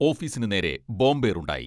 ഓഫീസിനു നേരെ ബോംബേറുണ്ടായി.